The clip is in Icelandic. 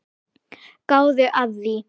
Gáðu að því.